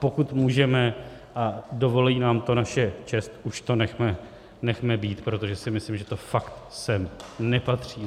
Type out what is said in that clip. Pokud můžeme a dovolí nám to naše čest, už to nechce být, protože si myslím, že to sem fakt nepatří.